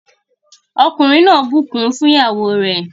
Ọkùnrin náà bukún fún ìyàwó re.